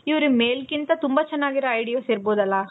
ಇವ್ರಿಗೆ male ಕಿಂತ ತುಂಬಾ ಚೆನಾಗಿರೋ ideas ಇರಬಹುದಲ